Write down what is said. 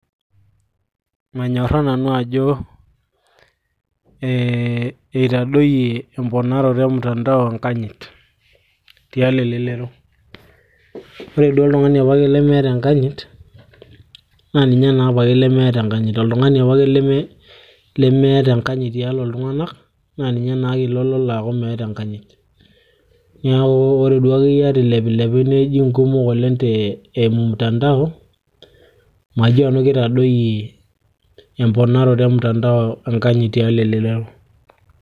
manyorraa nanu ajo itadoyie emponaroto e mtandao enkanyit tialo elelero ore duo oltung'ani apake lemeeta enkanyit naa ninye naa apake lemeeta enkanyit oltung'ani apake lemeeta enkanyit tialo iltung'anak naa ninye naake ilo lolo aaku meeta enkanyit niaku ore duo akeyie ata ilepilepi neji inkumok oleng te eimu mtandao majo nanu kitadoyie emponaroto e mtandao enkanyit tialo elelero.